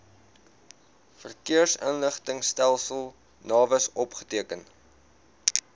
verkeersinligtingstelsel navis opgeteken